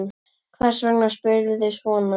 Hvers vegna spyrðu svona?